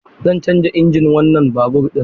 Zan canza injin wannan babur ɗin.